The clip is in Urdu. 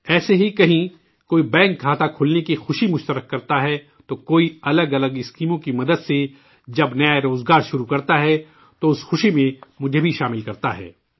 ایسے ہی کہیں کوئی بینک کھاتہ کھلنے کی خوشی شیئر کرتا ہے، تو کوئی الگ الگ منصوبوں کی مدد سے جب نیا روزگار شروع کرتا ہے تو اس خوشی میں مجھے بھی مدعو کرتا ہے